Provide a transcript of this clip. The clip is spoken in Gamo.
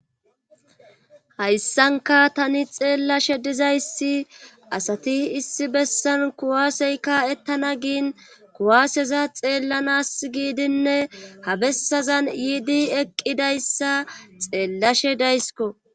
Hayssanka tani xeellashe dizayssi asati issi bessan kuwaaseyka ettana giin kuwaaseza xeellanas giidinne ha bessazan yiidi eqqidayssa xeellashe daysko.